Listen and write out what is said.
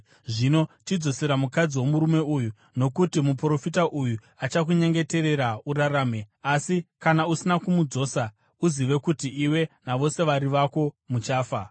Zvino chidzosera mukadzi womurume uyu, nokuti muprofita, uye achakunyengeterera urarame. Asi kana usina kumudzosa, uzive kuti iwe navose vari vako muchafa.”